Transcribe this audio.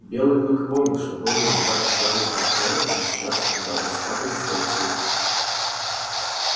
белый клык помнил что боги иногда откладывают наказание и сейчас ждал расплаты за свой поступок